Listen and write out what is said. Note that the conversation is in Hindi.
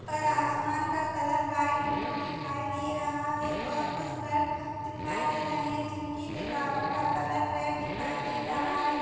आसमान का कलर व्हाइट ब्लू दिखाई दे रहा है और कुछ घर दिखाई दे रहे हैं जिनकी दीवारों का कलर रेड दिखाई दे रहा है।